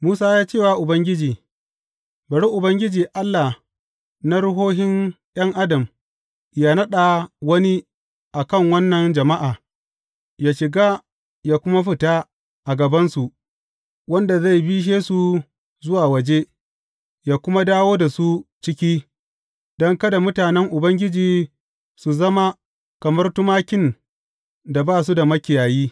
Musa ya ce wa Ubangiji, Bari Ubangiji, Allah na ruhohin ’yan adam, yă naɗa wani a kan wannan jama’a yă shiga, yă kuma fita a gabansu, wanda zai bishe su zuwa waje, yă kuma dawo da su ciki, don kada mutanen Ubangiji su zama kamar tumakin da ba su da makiyayi.